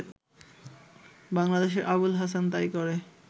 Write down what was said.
বাংলাদেশের আবুল হাসান তাই করে